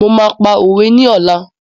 Mo máa pa òwe ni ọ̀la.